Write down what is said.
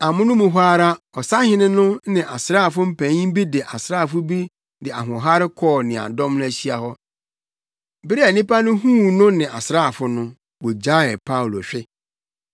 Amono mu hɔ ara ɔsahene no ne asraafo mpanyin bi ne asraafo bi de ahoɔhare kɔɔ nea dɔm no ahyia hɔ. Bere a nnipa no huu no ne asraafo no, wogyaee Paulo hwe.